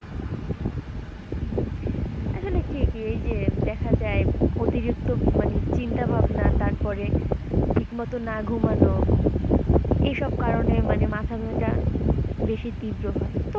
উম আসলে ঠিকই এইযে দেখা যায় অতিরিক্ত মানে চিন্তা ভাবনা তারপরে ঠিক মতো না ঘুমানো এইসব কারনে মানে মাথা ব্যাথা বেশি তিব্র হয়।